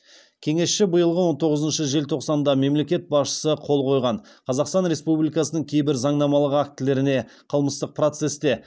кеңесші биылғы он тоғызыншы желтоқсанда мемлекет басшысы қол қойған қазақстан республикасының кейбір заңнамалық актілеріне қылмыстық процесте